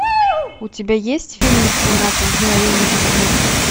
у тебя есть фильмик семнадцать мгновений весны